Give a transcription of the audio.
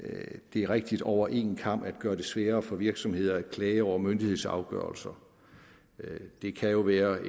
er rigtigt over en kam at gøre det sværere for virksomheder at klage over myndighedsafgørelser det kan jo være